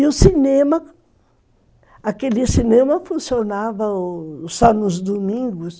E o cinema, aquele cinema funcionava só nos domingos,